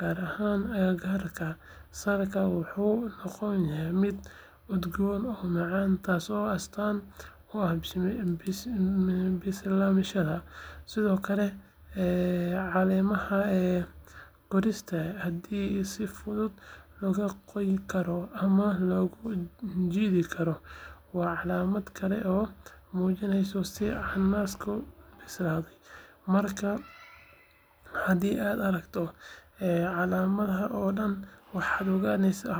gaar ahaan agagaarka salka, wuxuu noqonayaa mid udgoon oo macaan taasoo astaan u ah bislaanshihiisa. Sidoo kale, caleemaha korkiisa haddii si fudud looga goyn karo ama loo jiidi karo waa calaamad kale oo muujinaysa in cananaasku bislaaday. Markaa haddii aad aragto calaamadahan oo dhan, waxaad ogaan kartaa in cananaasku yahay mid si buuxda u bislaaday oo diyaar u ah in la cuno.